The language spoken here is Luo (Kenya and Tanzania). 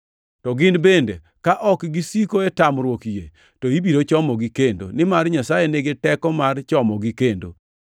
To gin bende, ka ok gisiko e tamruok yie, to ibiro chomogi kendo, nimar Nyasaye nigi teko mar chomogi kendo.